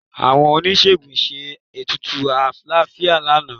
Àwọn oníṣègùn ṣe ètùtù àlàáfíà lánàá